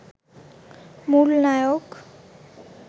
মূল নায়ক